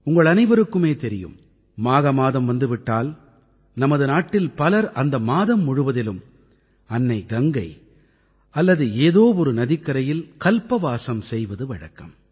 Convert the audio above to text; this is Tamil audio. உங்கள் அனைவருக்குமே தெரியும் மாக மாதம் வந்து விட்டால் நமது நாட்டில் பலர் அந்த மாதம் முழுவதிலும் அன்னை கங்கை அல்லது ஏதோ ஒரு நதிக்கரையில் கல்பவாஸம் செய்வது வழக்கம்